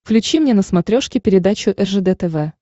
включи мне на смотрешке передачу ржд тв